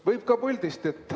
Võib ka puldist.